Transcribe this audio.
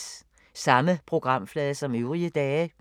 Samme programflade som øvrige dage